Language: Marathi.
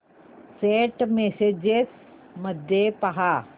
सेंट मेसेजेस मध्ये पहा